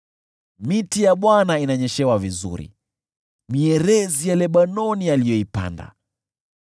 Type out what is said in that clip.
Miti ya Bwana inanyeshewa vizuri, mierezi ya Lebanoni aliyoipanda.